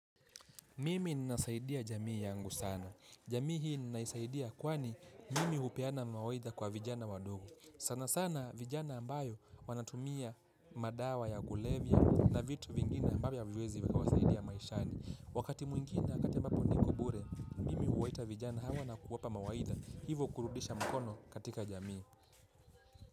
Mimi ninasaidia jamii yangu sana. Jamii hii ninaisaidia kwani, mimi hupeana mawaidha kwa vijana wadogo. Sana sana vijana ambayo wanatumia madawa ya kulevya na vitu vingine ambavyo haviwezi wasaidia maishani. Wakati mwingine wakati ambapo niko bure, mimi huwaita vijana hawa na kuwapa mawaidha. Hivo kurudisha mkono katika jamii.